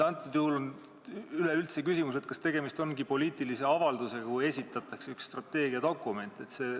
" Antud juhul on üleüldse küsitav, kas tegemist on poliitilise avaldusega, kui esitatakse üks strateegiadokument.